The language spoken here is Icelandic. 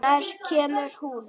Nær kemur hún?